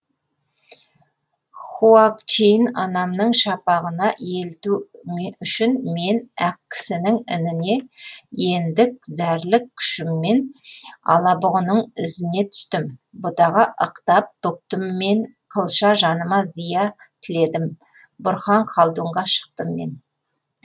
хуагчин анамның шапағына елту үшін мен ақкісінің ініне ендік зәрлік күшіммен алабұғының ізіне түстім бұтаға ықтап бүктім мен қылша жаныма зия тіледім бұрхан халдунға шықтым мен